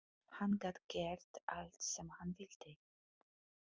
Hann gat gert allt sem hann vildi.